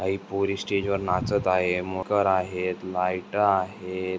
काही पोरी स्टेज वर नाचत आहे मखर आहेत लाइटा आहेत.